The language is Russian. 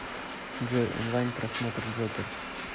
джой онлайн просмотр джокер